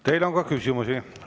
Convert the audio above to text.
Teile on ka küsimusi.